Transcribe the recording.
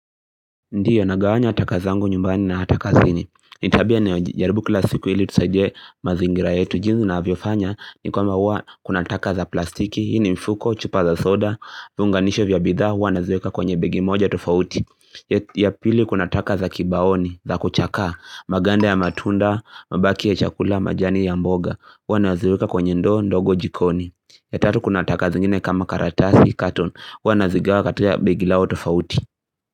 Ndio nagawanya taka zangu nyumbani na ata kazini ni tabia ninayojaribu kila siku hili tusaidie mazingira yetu jinsi navyofanya ni kwamba hua kuna taka za plastiki Hii ni mfuko, chupa za soda, viunganisho vya bidhaa Huwa naziweka kwenye begi moja tofauti ya pili kuna taka za kibaoni, za kuchakaa Maganda ya matunda, mbaki ya chakula, majani ya mboga Huwa naziweka kwenye ndo, ndogo jikoni ya tatu kuna taka zingine kama karatasi, carton Huwa nazigawa katika begi lao tofauti.